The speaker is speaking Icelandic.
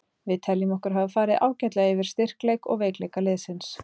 Við teljum okkur hafa farið ágætlega yfir styrkleik og veikleika liðsins.